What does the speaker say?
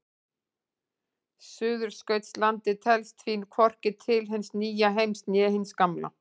Suðurskautslandið telst því hvorki til hins nýja heims né hins gamla.